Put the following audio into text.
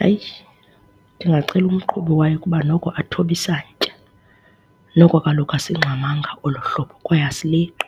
Hayi, ndingacela umqhubi wayo ukuba noko athobe isantya, noko kaloku asingxamanga olo hlobo kwaye asileqi